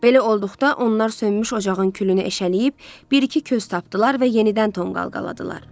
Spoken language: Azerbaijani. Belə olduqda onlar sönmüş ocağın külünü eşələyib, bir-iki köz tapdılar və yenidən tonqal qaldılar.